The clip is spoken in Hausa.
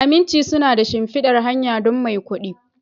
Aminci suna da shimfidar hanya don maikudi